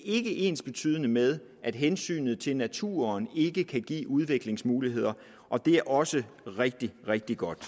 ikke ensbetydende med at hensynet til naturen ikke kan give udviklingsmuligheder og det er også rigtig rigtig godt